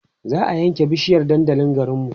za'a ƴan ke bishiyar dandalin garinmu